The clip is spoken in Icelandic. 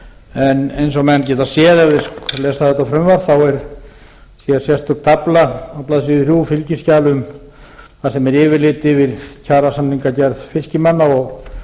en eins og menn geta séð ef þeir lesa þetta frumvarp þá er hér sérstök tafla á blaðsíðu þrjú fylgiskjal þar sem er yfirlit um kjarasamningagerð fiskimanna og